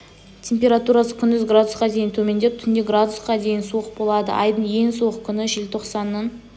температурасы күндіз градусқа дейін төмендеп түнде градусқа дейін суық болады айдың ең суық күні желтоқсанның